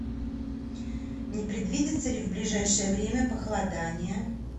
не предвидится ли в ближайшее время похолодание